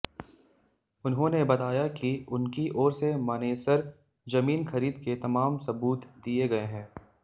उन्होंने बताया कि उनकी ओर से मानेसर जमीन खरीद के तमाम सबूत दिए गए हैं